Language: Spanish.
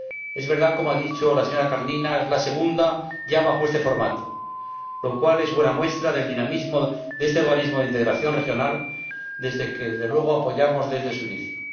Es verdad, como ha dicho la señora Kalniņa Lukaševica, que es la segunda ya bajo este formato, lo cual es buena muestra del dinamismo de este organismo de integración regional, que, desde luego, apoyamos desde sus inicios.